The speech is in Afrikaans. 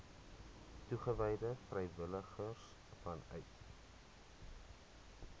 toegewyde vrywilligers vanuit